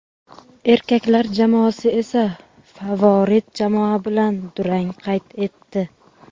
erkaklar jamoasi esa favorit jamoa bilan durang qayd etdi;.